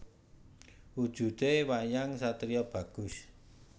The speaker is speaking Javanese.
Wujudé wayang satriya bagus